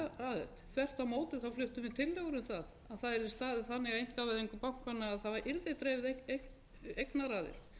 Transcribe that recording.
um það að það yrði staðið þannig að einkavæðingu bankanna að það yrði dreifð eignaraðild